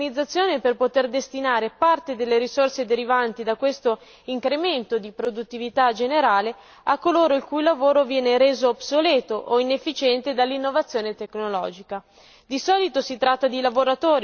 Il secondo aspetto è quello dell'organizzazione, per poter destinare parte delle risorse derivanti da questo incremento di produttività generale a coloro il cui lavoro viene reso obsoleto o inefficiente dall'innovazione tecnologica.